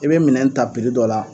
I bɛ minɛn ta dɔ la.